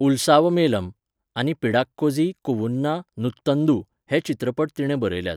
उल्सावमेलम आनी पिडाक्कोझी कूवुन्ना नूत्तंदू हे चित्रपट तिणें बरयल्यात.